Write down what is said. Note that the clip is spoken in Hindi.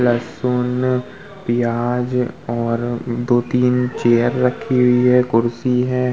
लहसुन प्याज़ और दोतीन चेयर रखी हुई है कुर्सी है।